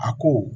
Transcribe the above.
A ko